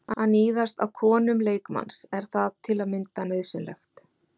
Að níðast á konum leikmanns, er það til að mynda nauðsynlegt?